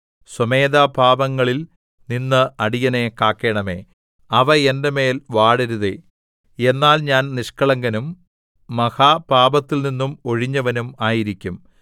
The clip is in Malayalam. സ്വമേധാപാപങ്ങളിൽ നിന്ന് അടിയനെ കാക്കേണമേ അവ എന്റെ മേൽ വാഴരുതേ എന്നാൽ ഞാൻ നിഷ്കളങ്കനും മഹാപാപത്തിൽ നിന്നും ഒഴിഞ്ഞവനും ആയിരിക്കും